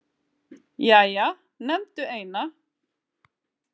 Jæja, nefndu eina